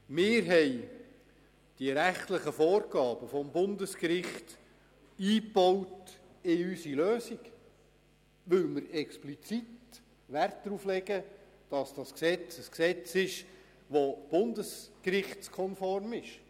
Wir haben die rechtlichen Vorgaben des Bundesgerichts in unsere Lösung eingebaut, weil wir explizit Wert darauf legen, dass dieses Gesetz bundesgerichtskonform ist.